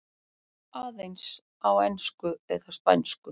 Aðeins á ensku eða spænsku.